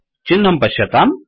चिह्नं पश्यताम्